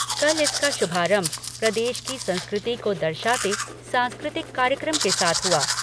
कल इसका शुभारंभ प्रदेश की संस्कृति को दर्शाते सांस्कृतिक कार्यक्रम के साथ हुआ।